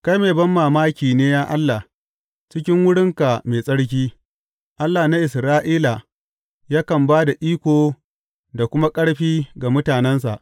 Kai mai banmamaki ne, ya Allah, cikin wurinka mai tsarki; Allah na Isra’ila yakan ba da iko da kuma ƙarfi ga mutanensa.